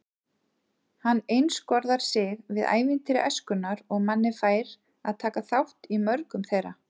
Hann einskorðar sig við ævintýri æskunnar og Manni fær að taka þátt í mörgum þeirra.